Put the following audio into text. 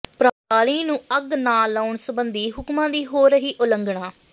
ਪਰਾਲੀ ਨੂੰ ਅੱਗ ਨਾ ਲਾਉਣ ਸਬੰਧੀ ਹੁਕਮਾਂ ਦੀ ਹੋ ਰਹੀ ਹੈ ਉਲੰਘਣਾ